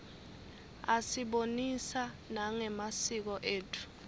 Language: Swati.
asibonisa nangemasiko etfu